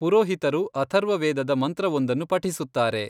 ಪುರೋಹಿತರು ಅಥರ್ವ ವೇದದ ಮಂತ್ರವೊಂದನ್ನು ಪಠಿಸುತ್ತಾರೆ.